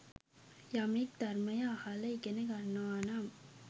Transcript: යමෙක් ධර්මය අහල ඉගෙන ගන්නවානම්